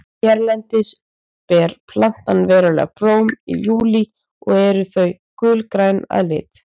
hérlendis ber plantan venjulega blóm í júlí og eru þau gulgræn að lit